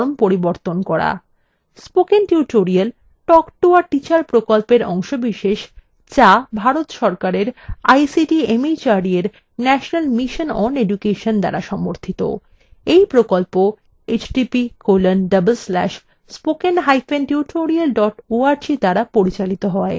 spoken tutorial talk to a teacher প্রকল্পের অংশবিশেষ যা ভারত সরকারের ict mhrd এর national mission on education দ্বারা সমর্থিত এই প্রকল্প